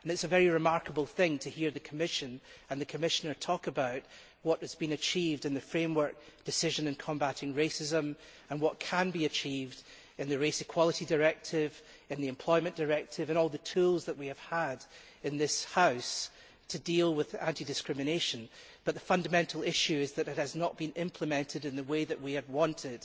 It is a very remarkable thing to hear the Commission and the Commissioner talk about what has been achieved in the Framework decision on combating racism and xenophobia and what can be achieved in the Race Equality Directive, in the Employment Directive and all the tools that we have had in this House to deal with anti discrimination but the fundamental issue is that it has not been implemented in the way that we have wanted.